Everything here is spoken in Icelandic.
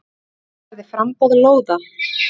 Tryggja verði framboð lóða.